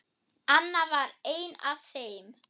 Anna var ein af þeim.